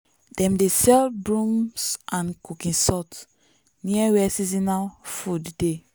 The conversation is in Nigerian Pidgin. dem dey sell brooms and cooking salt near where seasonal food dey.